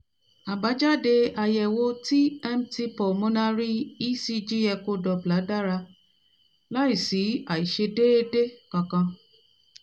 àbájáde àyẹ̀wò tmt pulmonary ecg echo doppler dára láìsí àìṣedééde kankan